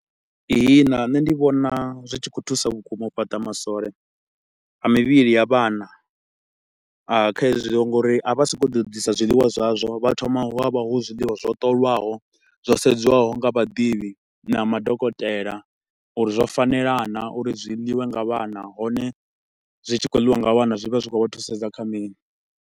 Ihina nṋe ndi vhona zwi tshi khou thusa vhukuma u fhata masole a mivhili ya vhana a kha hezwo nga uri a vha so ko u ḓo ḓisa zwiḽiwa zwazwo, vha thoma hu avha hu zwiḽiwa zwo ṱolwaho, zwo sedzwaho nga vhaḓivhi na madokotela uri zwo fanela naa uri zwi ḽiwe nga vhana hone zwi tshi kho ḽiwa nga vhana zwi vha zwi tshi khou vha thusedza kha mini.